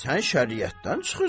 Sən şəriətdən çıxırsan.